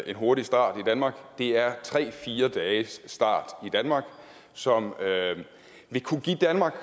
en hurtig start i danmark det er tre fire dages start i danmark som ville kunne give danmark